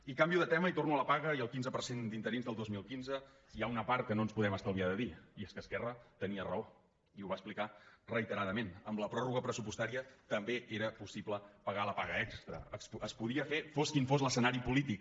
i canvio de tema i torno a la paga i al quinze per cent d’in·terins del dos mil quinze hi ha una part que no ens podem estal·viar de dir i és que esquerra tenia raó i ho va explicar reiteradament amb la pròrroga pressupostària també era possible pagar la paga extra es podia fer fos quins fos l’escenari polític